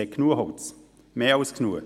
Es hat genug Holz, mehr als genug.